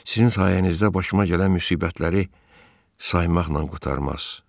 Sizin sayənizdə başıma gələn müsibətləri saymaqla qurtarmaz.